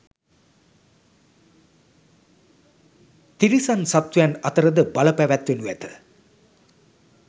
තිරිසන් සත්වයන් අතරද බල පැවැත්වෙනු ඇත.